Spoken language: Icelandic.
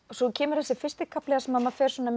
svo kemur þessi fyrsti kafli þar sem maður fer